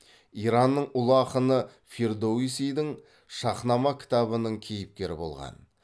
иранның ұлы ақыны фирдоусидің шаһнама кітабының кейіпкері болған